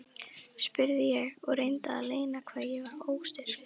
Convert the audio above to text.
spurði ég og reyndi að leyna hvað ég var óstyrk.